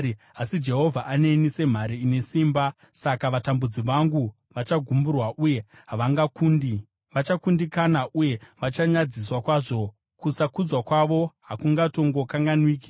Asi Jehovha aneni semhare ine simba; saka vatambudzi vangu vachagumburwa, uye havangakundi. Vachakundikana uye vachanyadziswa kwazvo; kusakudzwa kwavo hakungatongokanganwiki.